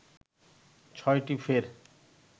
ছয়টি ফের